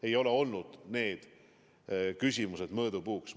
Ei ole olnud see mõõdupuuks.